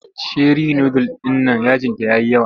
Sheri nudul ɗin nan yajinta ya yi yawa.